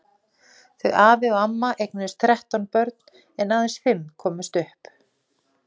Þau afi og amma eignuðust þrettán börn en aðeins fimm komust upp.